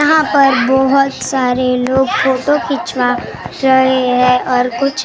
यहाँ पर बहुत सारे लोग फोटो खिचवा रहे हैं और कुछ दो अंकल ।